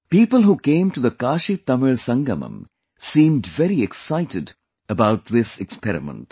People who came to the KashiTamil Sangamam seemed very excited about this experiment